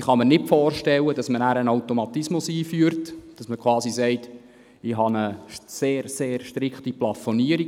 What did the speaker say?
Ich kann mir nicht vorstellen, dass man einen Automatismus einführt und sagt, man habe eine sehr, sehr strikte Plafonierung.